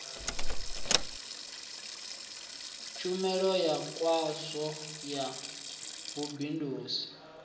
tshumelo ya khasho ya vhubindudzi